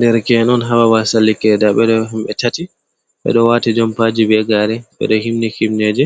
Derke en on ha babal sallikedere, nda ɓe ɗo ɓe tati, ɓe ɗo wati jompaji be gare ɓe ɗo himni himneje,